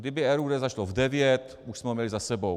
Kdyby RUD začalo v devět, už jsme ho měli za sebou.